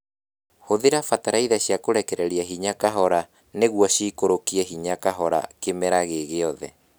Hũthĩra bataraitha cia kũrekereria hinya kahora nĩguo ciikũrũkie hinya kahora kĩmera gĩ giothe